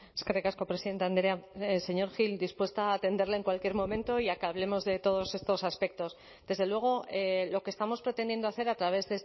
eskerrik asko presidente andrea señor gil dispuesta a atenderle en cualquier momento y a que hablemos de todos estos aspectos desde luego lo que estamos pretendiendo hacer a través